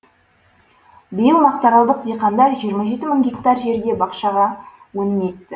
биыл мақтаралдық диқандар жиырма жеті мың гектар жерге бақшаға өнімін екті